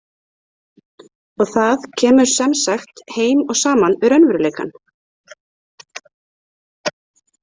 Og það kemur sem sagt heim og saman við raunveruleikann.